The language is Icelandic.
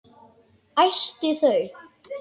Æsti þau.